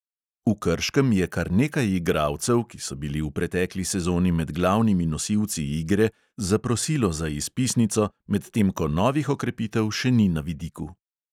V krškem je kar nekaj igralcev, ki so bili v pretekli sezoni med glavnimi nosilci igre, zaprosilo za izpisnico, medtem ko novih okrepitev še ni na vidiku.